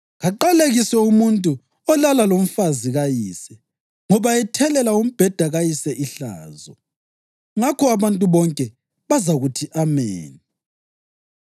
‘Kaqalekiswe umuntu olala lomfazi kayise, ngoba ethelela umbheda kayise ihlazo.’ Ngakho abantu bonke bazakuthi, ‘Ameni!’